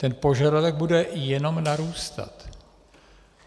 Ten požadavek bude jenom narůstat.